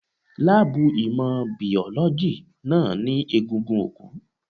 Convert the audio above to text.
Láàbù ìmọ̀ Bíọ́lọ́gì náà ní egungun òkú.